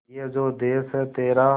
ये जो देस है तेरा